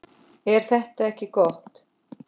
Er þetta ekki gott?